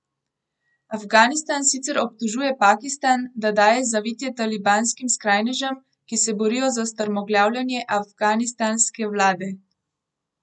Afganistan sicer obtožuje Pakistan, da daje zavetje talibanskim skrajnežem, ki se borijo za strmoglavljenje afganistanske vlade.